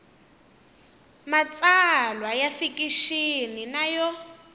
matsalwa ya fikixini na yo